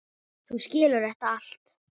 Þú skilur þetta allt.